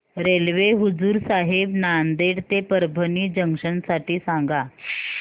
railway Hazur Sahib Nanded ते Parbhani junction साठी सांगा